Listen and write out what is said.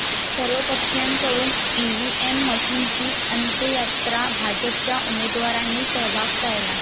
सर्वपक्षीयांकडून EVM मशीनची अंत्ययात्रा, भाजपच्या उमेदवारांनी सहभाग टाळला